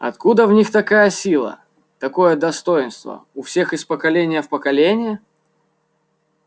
откуда в них такая сила такое достоинство у всех из поколения в поколение